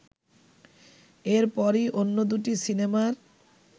এরপরই অন্য দুটি সিনেমার